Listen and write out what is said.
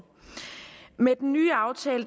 med den nye aftale